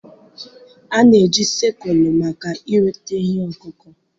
A na-eji Sikụlụ maka iweta ihe ọkụkụ.